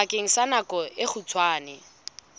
bakeng sa nako e kgutshwane